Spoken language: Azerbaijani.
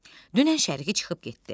Dünən şəriki çıxıb getdi.